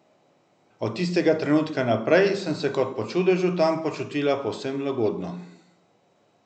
Od tistega trenutka naprej sem se kot po čudežu tam počutila povsem lagodno.